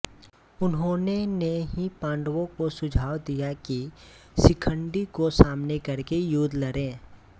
उन्होंने ने ही पांडवों को सुझाव दिया कि शिखंडी को सामने करके युद्ध लड़े